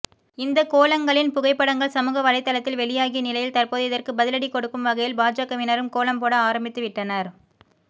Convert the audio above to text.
இந்த கோலங்களின் புகைப்படங்கள் சமூகவலைதளத்தில் வெளியாகிய நிலையில் தற்போது இதற்கு பதிலடி கொடுக்கும் வகையில் பாஜகவினரும் கோலம் போட ஆரம்பித்துவிட்டனர்